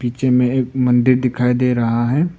पीछे में एक मंदिर दिखाई दे रहा है।